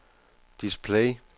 display